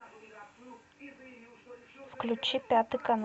включи пятый канал